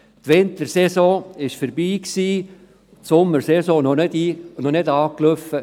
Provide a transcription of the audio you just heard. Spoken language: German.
Die Wintersaison war vorbei, und die Sommersaison hatte noch nicht wirklich begonnen.